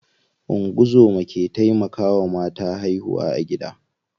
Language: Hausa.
Ungozoma ke taimakawa mata haihuwa a gida.